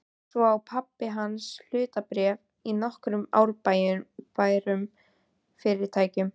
Svo á pabbi hans hlutabréf í nokkrum arðbærum fyrirtækjum.